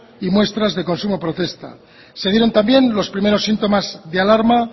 y muestras de consumo protesta se dieron también los primeros síntomas de alarma